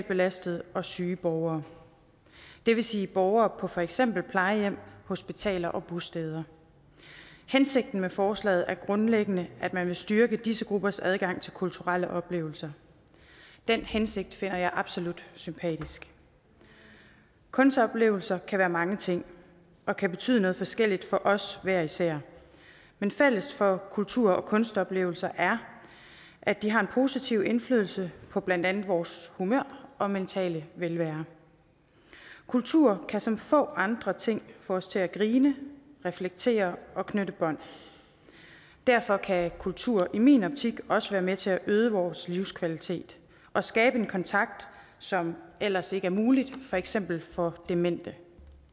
belastede og syge borgere det vil sige borgere på for eksempel plejehjem hospitaler og bosteder hensigten med forslaget er grundlæggende at man vil styrke disse gruppers adgang til kulturelle oplevelser den hensigt finder jeg absolut sympatisk kunstoplevelser kan være mange ting og kan betyde noget forskelligt for os hver især men fælles for kultur og kunstoplevelser er at de har en positiv indflydelse på blandt andet vores humør og mentale velvære kultur kan som få andre ting få os til at grine reflektere og knytte bånd derfor kan kultur i min optik også være med til at øge vores livskvalitet og skabe en kontakt som ellers ikke er mulig for eksempel for demente